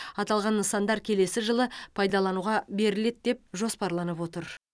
аталған нысандар келесі жылы пайдалануға беріледі деп жоспарланып отыр